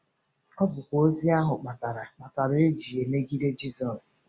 Ọ bụkwa ozi ahụ kpatara kpatara e ji emegide Jizọs.